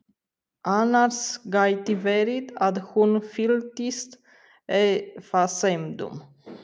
Annars gæti verið að hún fylltist efasemdum.